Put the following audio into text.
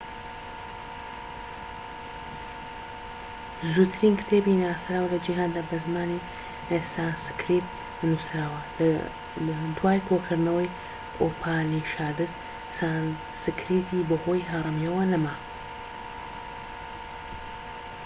زووترین کتێبی ناسراو لە جیهاندا بە زمانی سانسکریت نووسراوە دوای کۆکردنەوەی ئوپانیشادس سانسکریتی بەهۆی هەرەمییەوە نەما